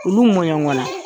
Olu mɔɲɔgɔn na.